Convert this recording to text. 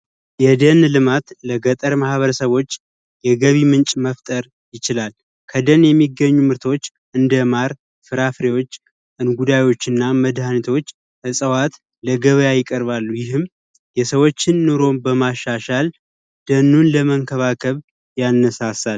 የደን ልማት ለገጠር ማበረሰቦች የገቢ ምንጭ መፍጠር ይችላል ከደንገኙ ምርቶች እንደ ማር ስራ ፍሬዎች እንጉዳዮችና መድኃኒቶች ለገበያ ይቀርባሉ። ይህም የሰዎችን ኑሮ በማሻሻል ደኑን ለመንከባከብ ያነሳል።